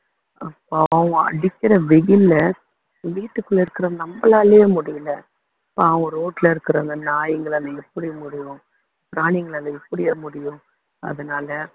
பாவம் அடிக்கிற வெயில்ல வீட்டுக்குள்ள இருக்குற நம்மளாலேயே முடியலை பாவம் road ல இருக்குற அந்த நாய்ங்களால எப்படி முடியும் பிராணிங்களால எப்படி அது முடியும் அதனால